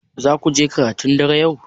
Zaku je karatun dare yau?